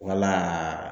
Wala